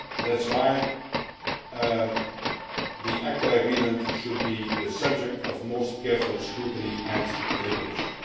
That is why the ACTA agreement should be the subject of the most careful scrutiny and deliberation.